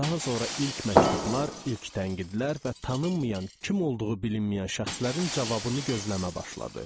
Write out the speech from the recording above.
Daha sonra ilk məktublar, ilk tənqidlərdən və tanınmayan, kim olduğu bilinməyən şəxslərin cavabını gözləmə başladı.